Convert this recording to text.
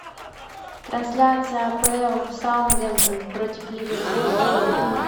трансляция апл саутгемптон против ливерпуля